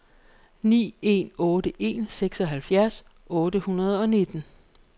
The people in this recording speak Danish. ni en otte en seksoghalvfjerds otte hundrede og nitten